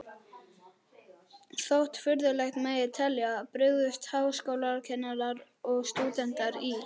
Þótt furðulegt megi telja, brugðust háskólakennarar og stúdentar í